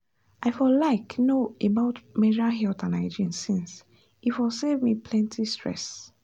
i for like know about menstrual health and hygiene since e for save me plenty stress